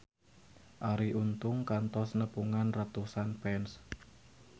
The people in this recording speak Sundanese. Arie Untung kantos nepungan ratusan fans